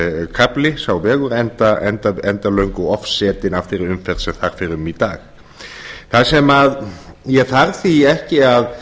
slysakafli sá vegur enda löngu ofsetinn af þeirri umferð sem þar fer um í dag það sem ég þarf því ekki að